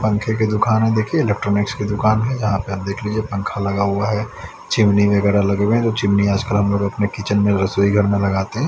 पंखे की दुकान है देखिए इलेक्ट्रॉनिक्स की दुकान है जहाँ पे आप देख लीजिए पंखा लगा हुआ है चिमनी वगैरह लगे हुए हैं जो चिमनी आजकल हम लोग अपने किचन में रसोई घर में लगाते हैं।